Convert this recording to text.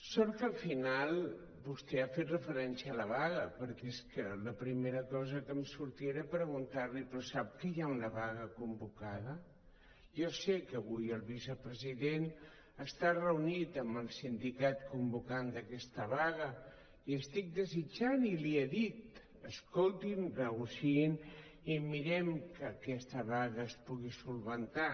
sort que al final vostè ha fet referència a la vaga perquè és que la primera cosa que em sortia era preguntar li però sap què hi ha una vaga convocada jo sé que avui el vicepresident està reunit amb el sindicat convocant d’aquesta vaga i estic desitjant i li he dit escoltin negociïn i mirem que aquesta vaga es pugui solucionar